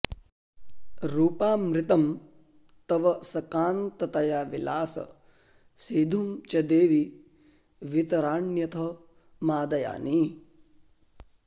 रूपामृतं तव सकान्ततया विलास सीधुं च देवि वितराण्यथ मादयानि